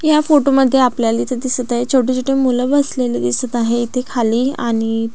या फोटो मध्ये आपल्याला इथे दिसत आहे छोटी छोटी मुलं बसलेली दिसत आहे इथे खाली आणि--